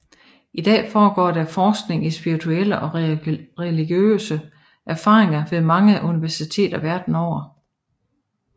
I dag foregår der forskning i spirituelle og religiøse erfaringer ved mange universiteter verden over